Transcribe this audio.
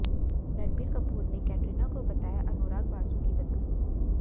रणबीर कपूर ने कैटरीना को बताया अनुराग बासु की पसंद